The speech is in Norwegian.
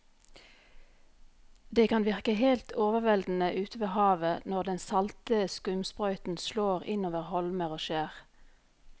Det kan virke helt overveldende ute ved havet når den salte skumsprøyten slår innover holmer og skjær.